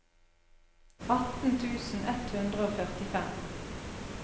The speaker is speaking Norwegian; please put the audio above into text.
atten tusen ett hundre og førtifem